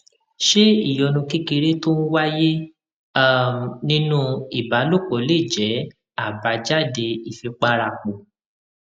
ṣé ìyọnu kékeré tó ń wáyé um nínú ìbálòpò lè jé àbájáde ìfipárapò